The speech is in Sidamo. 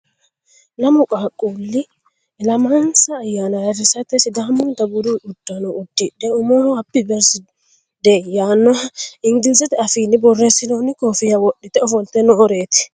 Lammu qaaqquli ilammanissa ayyanna ayirrissatte sidaamunita buddu uddano udidhe ummoho happy birthday yaano iniggilizete afiini borressinnoni koofiya wodhitte offolitte nooretti